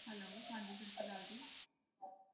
Hello ਹਾਂਜੀ ਸਤਿ ਸ਼੍ਰੀ ਅਕਾਲ ਜੀ।